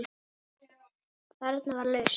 Þarna var lausn.